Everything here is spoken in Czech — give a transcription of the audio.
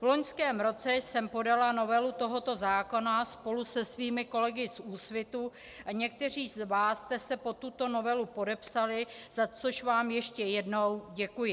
V loňském roce jsem podala novelu tohoto zákona spolu se svými kolegy z Úsvitu a někteří z vás jste se pod tuto novelu podepsali, za což vám ještě jednou děkuji.